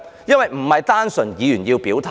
因為並不單純是議員要表態。